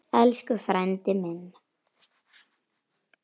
Elsku frændi minn.